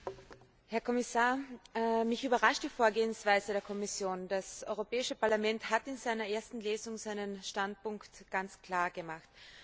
Frau Präsidentin, Herr Kommissar! Mich überrascht die Vorgehensweise der Kommission. Das Europäische Parlament hat in seiner ersten Lesung seinen Standpunkt ganz klar gemacht.